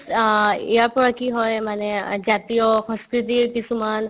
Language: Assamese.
অ, ইয়াৰ পৰা কি হয় মানে জাতীয় সংস্কৃতিৰ কিছুমান